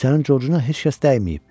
Sənin Corcuna heç kəs dəyməyib.